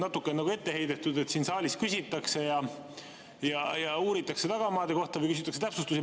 Natukene on nagu ette heidetud, et siin saalis küsitakse ja uuritakse tagamaade kohta või küsitakse täpsustusi.